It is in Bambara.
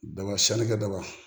Daba sannikɛ ba